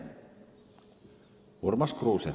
Urmas Kruuse.